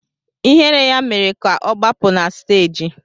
Ihere ya mere ka ọ gbapụ na stééji